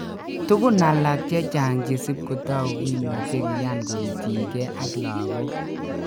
Tugun alak chechang chesip kotagu kimuche kiyan koityin ke ak logok.